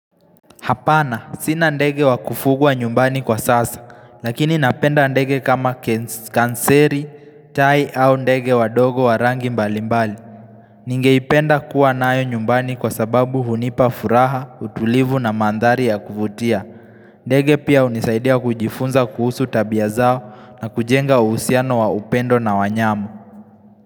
Hapana, sina ndege wakufugwa nyumbani kwa sasa, lakini napenda ndege kama ken kanseri, tai au ndege wadogo wa rangi mbalimbali. Ningeipenda kuwa nayo nyumbani kwa sababu hunipa furaha, utulivu na mandhari ya kuvutia. Ndege pia hunisaidia kujifunza kuhusu tabia zao na kujenga uhusiano wa upendo na wanyama.